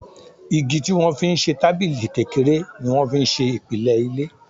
Igi tí wọ́n fi ń ṣe tábìlì kékeré ni wọ́n fi ń ṣe ìpìlẹ̀ ilé